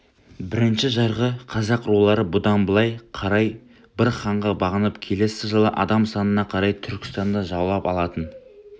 бірінші жарғы қазақ рулары бұдан былай қарай бір ханға бағынып келесі жылы адам санына қарай түркістанды жаулап алатын